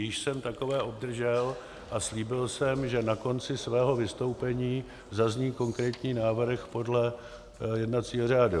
Již jsem takové obdržel a slíbil jsem, že na konci svého vystoupení zazní konkrétní návrh podle jednacího řádu.